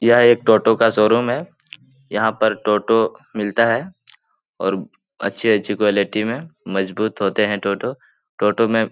यह एक टोटो का शोरूम है यहाँ पर टोटो मिलता है और अच्छी-अच्छी क़्वालिटी में मजबूत होते हैं टोटो टोटो में --